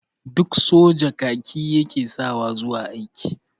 Duk soja kaki ya ke sawa zuwa aiki.